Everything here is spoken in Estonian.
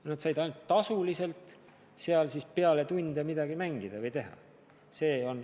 Lapsed said ainult tasu eest seal peale tunde mänge mängida või midagi muud teha.